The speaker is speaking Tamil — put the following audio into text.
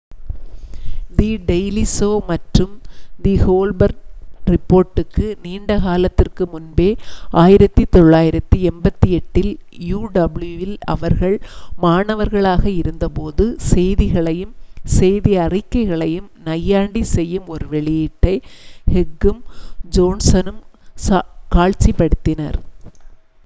தி டெய்லி ஷோ மற்றும் தி கோல்பர்ட் ரிப்போர்ட்டுக்கு நீண்ட காலத்திற்கு முன்பே 1988 இல் uw இல் அவர்கள் மாணவர்களாக இருந்தபோது செய்திகளையும் செய்தி அறிக்கைகளையும் நையாண்டிச் செய்யும் ஒரு வெளியீட்டை ஹெக்கும் ஜோன்சனும் காட்சிப்படுத்தினர்